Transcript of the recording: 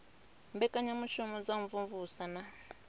mbekanyamushumo dza u imvumvusa na